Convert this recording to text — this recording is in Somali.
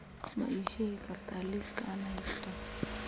ma ii sheegi kartaa liiska aan haysto